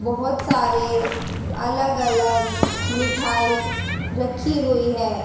बहोत सारे अलग अलग मिठाई रखी हुई हैं।